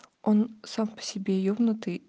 он сам по себе ебнутый